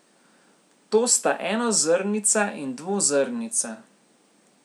To sta enozrnica in dvozrnica.